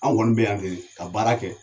Anw kɔni bɛ yan kɛni ka baara kɛ.